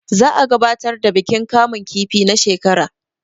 za a gabatar da bikin kamun kifi na shekar